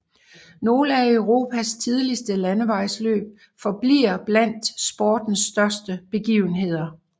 Nogle af Europas tidligste landevejsløb forbliver blandt sportens største begivenheder